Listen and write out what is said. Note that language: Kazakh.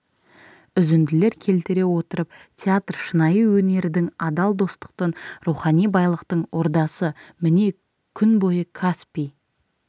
үзінділер келтіре отырып театр шынайы өнердің адал достықтың рухани байлықтың ордасы міне күн бойы каспий